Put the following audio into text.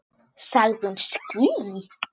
Sagði hún ský?